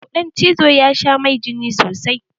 Kuɗan cizo ya sha mai jini sosai.